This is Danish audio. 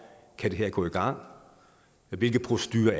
det her kan gå i gang hvilke procedurer